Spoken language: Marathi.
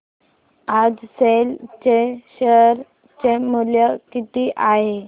आज सेल चे शेअर चे मूल्य किती आहे